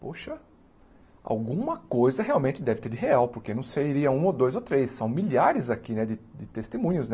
Poxa, alguma coisa realmente deve ter de real, porque não seria um ou dois ou três, são milhares aqui né de de testemunhos né.